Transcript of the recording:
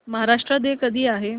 Maharashtra day कधी आहे